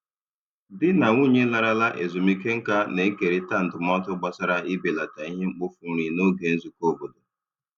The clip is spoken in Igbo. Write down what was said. Di na nwunye larala ezumike nka na-ekerịta ndụmọdụ gbasara ibelata ihe mkpofu nri n'oge nzukọ obodo.